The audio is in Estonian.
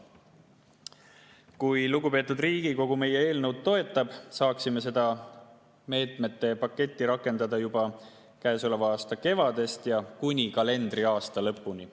Kui lugupeetud Riigikogu meie eelnõu toetab, saaksime seda meetmepaketti rakendada juba käesoleva aasta kevadest ja kuni kalendriaasta lõpuni.